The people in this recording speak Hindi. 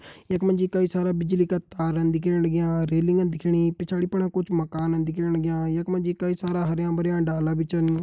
यखमा जी कई सारा बिजली का तारन दिखेण लग्यां रेलिंगन दिखणीं पिछाड़ी फणा कुछ मकानन दिखेण लग्यां यखमा जी कई सारा हर्या-भर्या डाला बि छन।